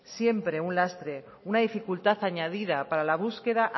siempre un lastre una dificultad añadida para la búsqueda